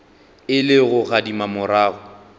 e le go gadima morago